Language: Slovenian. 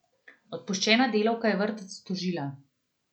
Odpuščena delavka je vrtec tožila.